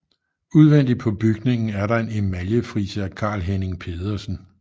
Udvendigt på bygningen er der en emaljefrise af Carl Henning Pedersen